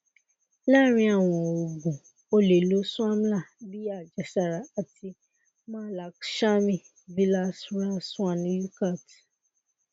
laarin awọn oogun o le lo swamla bi ajẹsara ati mahalakshami vilas ras swarn yukat